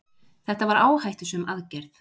þetta var áhættusöm aðgerð